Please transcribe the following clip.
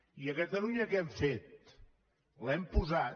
i a catalunya què hem fet l’hem posat